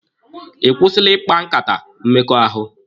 Ị kwụsịla ikpa nkata mmekọahụ?